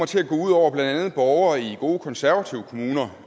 til at gå ud over borgere i gode konservative kommuner